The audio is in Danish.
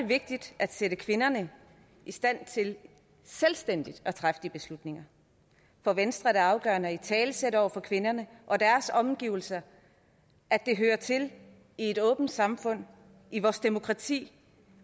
vigtigt at sætte kvinderne i stand til selvstændigt at træffe de beslutninger for venstre er det afgørende at italesætte over for kvinderne og deres omgivelser at det hører til i et åbent samfund i vores demokrati